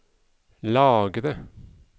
lagre